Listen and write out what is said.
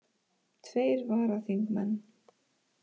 Tveir varaþingmenn